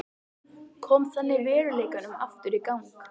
Kom þannig veruleikanum aftur í gang.